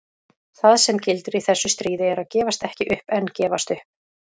Það sem gildir í þessu stríði er að gefast ekki upp en gefast upp.